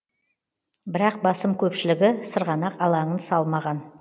бірақ басым көпшілігі сырғанақ алаңын салмаған